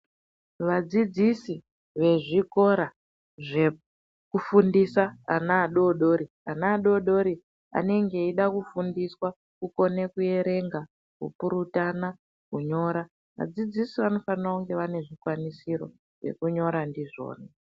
Vadzidzisi vezvikora zvekufundisa ana adodori, ana adodori anenge eyida kufundiswa kukone kuerenga ,kupurutana kunyora. Vadzidzisi vanofano kunge vanezvikwanisiro zvekunyora ndizvona.